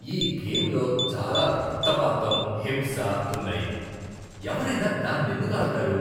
ఈ గేమ్లో చాలా రక్తపాతం, హింస ఉన్నాయి. ఎవరైనా దాన్నెందుకు ఆడతారు?